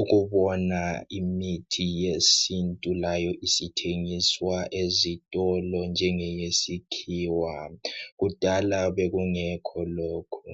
ukubona imithi yesintu layo isithengiswa ezitolo njengeyesikhiwa kudala kwakungekho lokho.